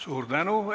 Suur tänu!